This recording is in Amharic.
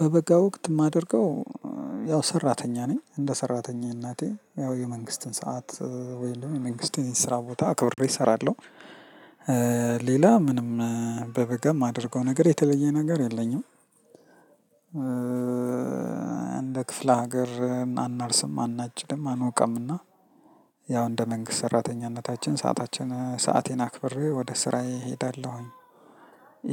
በበጋ ወቅት የማደርገው ያው ሰራተኛ ነኝ እንደ ሰራተኛነቴ ያው የመንግስትን ሰዓት ወይም የመንግስት የስራ ቦታ አክብሬ እሰራለሁ። ሌላ ምንም በበጋ የማደርገው ነገር የተለየ ነገር የለኝም። እንደ ክፍለ ሀገር አናርስም አናጭድም አንወቃምና ያው እንደ መንግስት ሰራተኛነታችን ሰአታችንን ሰአቴን አክብሬ ወደ ስራዬ እሄዳለሁኝ።